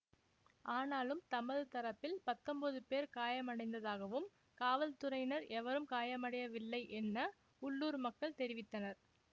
ஆனாலும் தமது தரப்பில் பத்தொன்பது பேர் காயமடைந்ததாகவும் காவல்துறையினர் எவரும் காயமடையவில்லை என்ன உள்ளூர் மக்கள் தெரிவித்தனர்